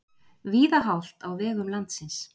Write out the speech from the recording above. Víða hált á vegum landsins